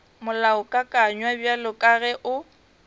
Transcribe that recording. molaokakanywa bjalo ka ge o